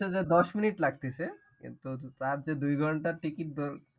দশ মিনিট লাগতিছে, কিন্তু তার যে দুই ঘন্টা ticket